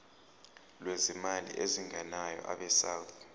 lwezimali ezingenayo abesouth